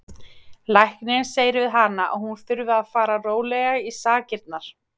Læknirinn segir við hana að hún þurfi að fara rólega í sakirnar.